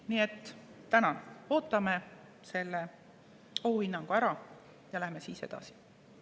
Nii et ootame selle ohuhinnangu ära ja läheme siis edasi.